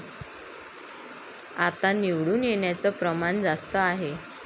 आता निवडून येण्याचं प्रमाण जास्त आहे.